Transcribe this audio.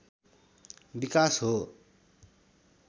विकास हो